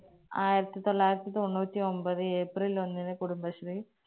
ആയിരത്തി തൊള്ളായിരത്തി തൊണ്ണൂറ്റി ഒമ്പത് april ഒന്നിന് കുടുംബശ്രീ